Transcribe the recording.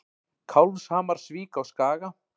Kálfshamarsvík á Skaga.